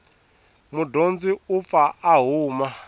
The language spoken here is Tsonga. mudyondzi u pfa a huma